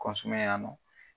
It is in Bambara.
yan nɔn